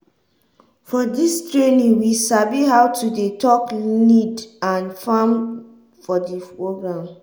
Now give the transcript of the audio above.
for dis trainingwe sabi how to dey talk lead and farm for di program.